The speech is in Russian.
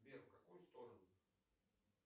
сбер в какую сторону